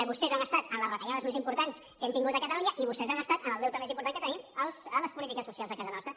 vostès han estat en les retallades més importants que hem tingut a catalunya i vostès han estat en el deute més important que tenim a les polítiques socials a casa nostra